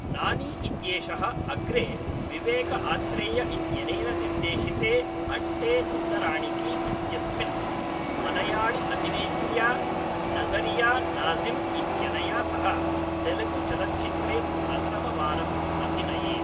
नानी इत्येषः अग्रे विवेकआत्रेय इत्यनेन निर्देशिते अन्टे सुन्दराणिकी इत्यस्मिन्, मळयाळिअभिनेत्र्या नज़रिया नाज़िम्इत्यनया सह तेलुगुचलच्चित्रे प्रथमवारं अभिनयेत्।